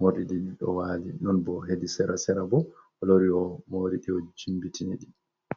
morɗi ɗin ɗo wali, non bo hedi sera-sera bo o lori o moriɗi o jimbitini ɗi.